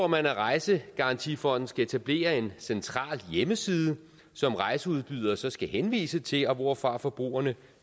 man at rejsegarantifonden skal etablere en central hjemmeside som rejseudbydere så skal henvise til og hvorfra forbrugerne